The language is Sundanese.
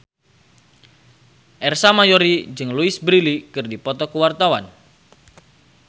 Ersa Mayori jeung Louise Brealey keur dipoto ku wartawan